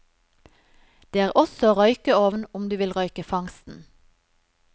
Det er også røykeovn om du vil røyke fangsten.